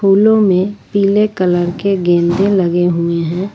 लो मे पीले कलर के गेंदे लगे हुए है।